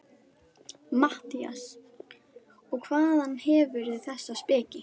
MATTHÍAS: Og hvaðan hefurðu þessa speki?